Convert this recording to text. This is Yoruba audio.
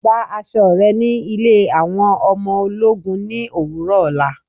Gbà àṣọ rẹ ni ilẹ̀ àwọn ọmọ ọlọ́gún ní owurọ̀ ọlá.